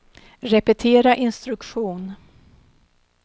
repetera instruktion